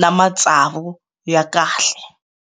na matsavu ya kahle.